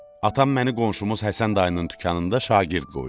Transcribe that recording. Atam məni qonşumuz Həsən dayının dükanında şagird qoydu.